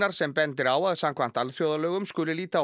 sem bendir á að samkvæmt alþjóðalögum skuli líta á